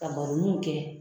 Ka baro n'u kɛ.